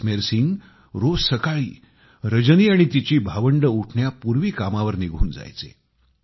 जसमेर सिंग रोज सकाळी रजनी आणि तिची भावंड उठण्यापूर्वी कामावर निघून जायचे